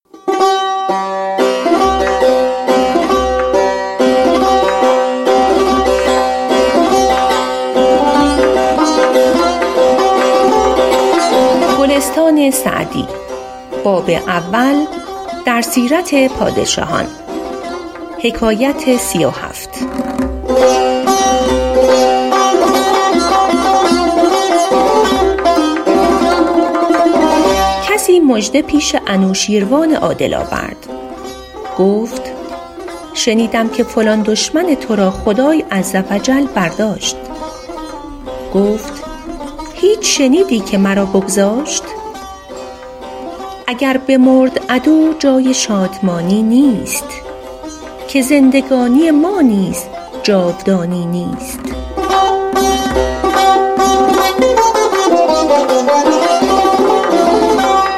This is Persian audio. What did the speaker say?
کسی مژده پیش انوشیروان عادل آورد گفت شنیدم که فلان دشمن تو را خدای عز و جل برداشت گفت هیچ شنیدی که مرا بگذاشت اگر بمرد عدو جای شادمانی نیست که زندگانی ما نیز جاودانی نیست